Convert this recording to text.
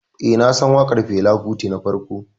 Eh, nasan waƙar Fela Kuti ta farko.